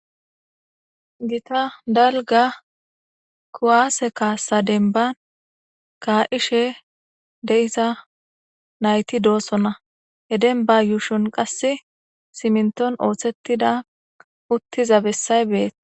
Gita dalga kuwaase kaassa denban kaa7ishe de7isa nayti doossona he denba yuushon qasse siminton ooththettida uttiza bessay beetes.